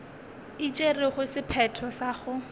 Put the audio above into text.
e tšerego sephetho sa go